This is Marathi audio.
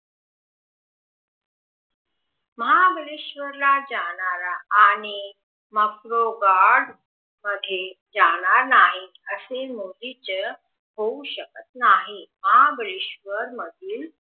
महाबळेश्वर ला जाणारा आणि मॅग्रोगार्ड मध्ये जाणार म्ही असे मुळीच होऊ शकत नहि महाबळेशवर मधील